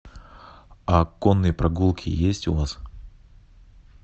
а конные прогулки есть у вас